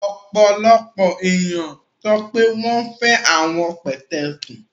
Ọpọlọpọ eniyan sọ pe wọn fẹ awọn pẹtẹẹsì